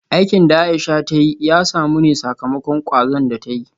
Aikin da Aisha ta yi ya samu ne sakamakon kwazon da ta yi